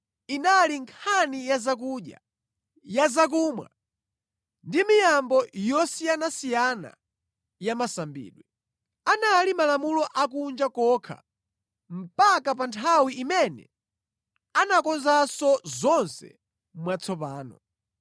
Inali nkhani ya zakudya, ya zakumwa ndi ya miyambo yosiyanasiyana ya masambidwe. Anali malamulo akunja kokha mpaka pa nthawi imene anakonzanso zonse mwatsopano.